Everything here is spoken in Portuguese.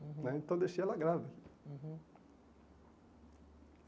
né Então eu deixei ela grávida. Uhum